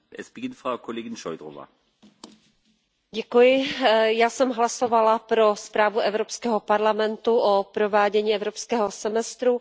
Pane předsedající, já jsem hlasovala pro zprávu Evropského parlamentu o provádění evropského semestru.